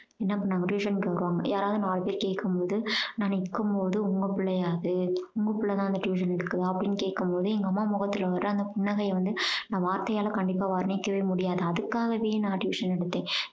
நம்ம நம்ம tuition க்கு வருவாங்க. யாராவது நாலு பேர் கேட்கும் போது நான் இருக்கும் போது உங்க புள்ளையா அது உங்க புள்ளை தான் அந்த tuition எடுக்குதா அப்படீன்னு கேட்கும் போது எங்க அம்மா முகத்துல வர அந்த புன்னகைய வந்து நான் வார்த்தையால கண்டிப்பா வர்ணிக்கவே முடியாது. அதுக்காகவே நான் tuition எடுத்தேன்.